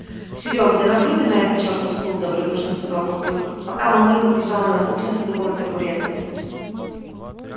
серёг да наплюй ты на этот чертов стул добродушно сказал папулька пока мамулька бежала на кухню за дубовой табуреткой